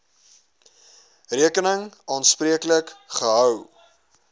rekening aanspreeklik gehou